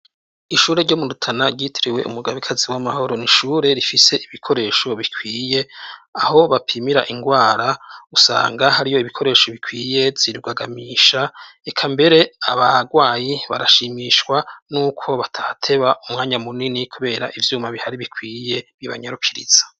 ishure ry'o murutana ryiteriwe umugabo ikazi w'amahoro nishure rifise ibikoresho bikwiye aho bapimira indwara usanga hariyo ibikoresho bikwiye yirugagamisha eka mbere abagwayi barashimishwa n'uko batateba umwanya munini kubera ibyuma bihari bikwiye by'ibanyarukiritsa